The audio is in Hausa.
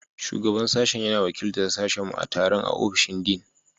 Shugaban Sashen yana wakiltar sashenmu a taron a ofishin Dean.